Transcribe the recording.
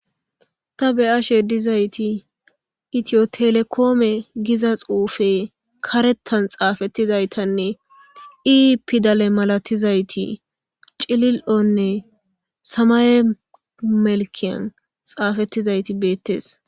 Ta be'ashe dizayti itiyo telekome giza xufe karethan xafetidaytanne e pidale malatizaytinne samaye melkiyan xafetidayti betes.